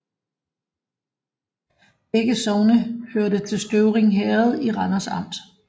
Begge sogne hørte til Støvring Herred i Randers Amt